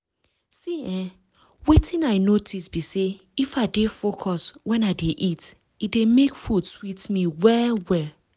see eh wetin i notice be say if i dey focus when i dey eat e dey make food sweet me well-well.